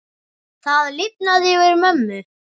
Það lifnaði yfir mömmu.